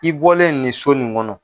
I bɔlen nin so nin kɔnɔ.